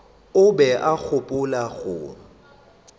o be a gopola go